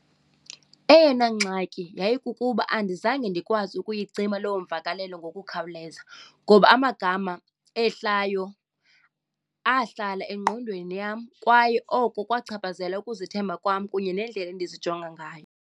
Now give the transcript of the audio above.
Eyona ngxaki yayikukuba andizange ndikwazi ukuyicima loo mvakalelo ngokukhawuleza ngoba amagama ehlayo ahlala engqondweni yam kwaye oko kwachaphazela ukuzethemba kwam kunye nendlela endizijongayo.